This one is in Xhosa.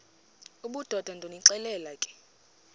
obudoda ndonixelela ke